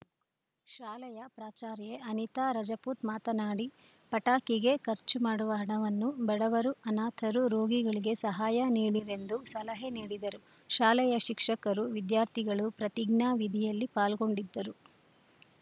ಶಾಲೆಯ ಪ್ರಾಚಾರ್ಯೆ ಅನಿತಾ ರಜಪೂತ್‌ ಮಾತನಾಡಿ ಪಟಾಕಿಗೆ ಖರ್ಚು ಮಾಡುವ ಹಣವನ್ನು ಬಡವರು ಅನಾಥರು ರೋಗಿಗಳಿಗೆ ಸಹಾಯ ನೀಡಿರೆಂದು ಸಲಹೆ ನೀಡಿದರು ಶಾಲೆಯ ಶಿಕ್ಷಕರು ವಿದ್ಯಾರ್ಥಿಗಳು ಪ್ರತಿಜ್ಞಾ ವಿಧಿಯಲ್ಲಿ ಪಾಲ್ಗೊಂಡಿದ್ದರು